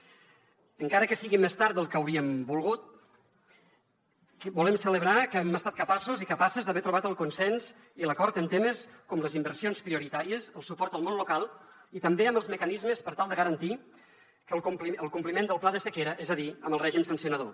encara que sigui més tard del que hauríem volgut volem celebrar que hem estat capaços i capaces d’haver trobat el consens i l’acord en temes com les inversions prioritàries el suport al món local i també amb els mecanismes per tal de garantir el compliment del pla de sequera és a dir amb el règim sancionador